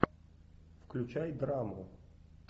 включай драму